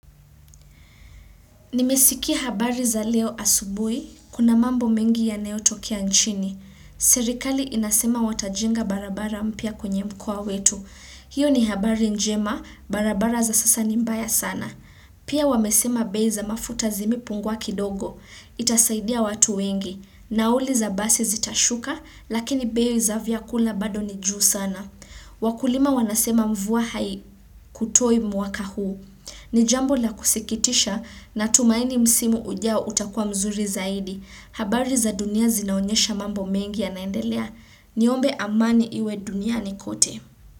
Nimesikia habari za leo asubuhi, kuna mambo mengi yanayotokea nchini. Serikali inasema watajenga barabara mpya kwenye mkoa wetu. Hiyo ni habari njema, barabara za sasa ni mbaya sana. Pia wamesema bei za mafuta zimepungua kidogo. Itasaidia watu wengi. Nauli za basi zitashuka, lakini bei za vyakula bado ni juu sana. Wakulima wanasema mvua hai kutoi mwaka huu. Nijambo la kusikitisha na tumaini msimu ujao utakua mzuri zaidi. Habari za dunia zinaonyesha mambo mengi ya naendelea. Niombe amani iwe dunia ni kote.